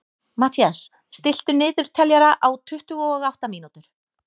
Mathías, stilltu niðurteljara á tuttugu og átta mínútur.